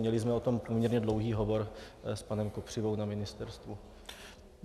Měli jsme o tom poměrně dlouhý hovor s panem Kopřivou na ministerstvu.